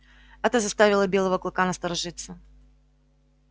это заставило белого клыка насторожиться